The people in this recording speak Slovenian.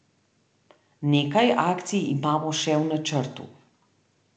Nekaj akcij imamo še v načrtu.